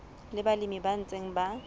le balemi ba ntseng ba